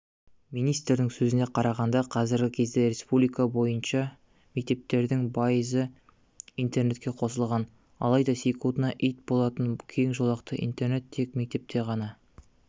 министрдің сөзіне қарағанда қазіргі кезде республика бойынша мектептердің пайызы интернетке қосылған алайда секундтына ит болатын кең жолақты интернет тек мектепте ғана